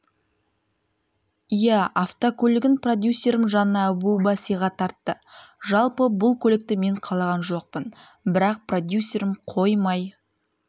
иә автокөлігін продюсерім жанна әбуова сыйға тартты жалпы бұл көлікті мен қалаған жоқпын бірақ продюсерім қоймай